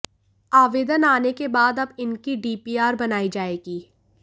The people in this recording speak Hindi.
आवेदन आने के बाद अब इन की डीपीआर बनाई जाएगी